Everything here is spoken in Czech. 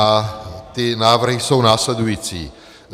A ty návrhy jsou následující.